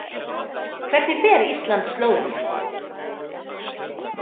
Hvernig fer Ísland- Slóvenía?